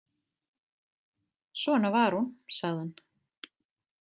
Svona var hún, sagði hann.